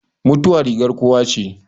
Mutuwa rigar kowa che